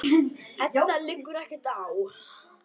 Enda liggur ekkert á.